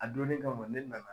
A dɔnnin kama ne nana